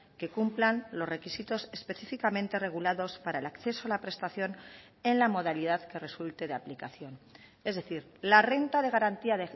que cumplan los requisitos específicamente regulados para el acceso a la prestación en la modalidad que resulte de aplicación es decir la renta de garantía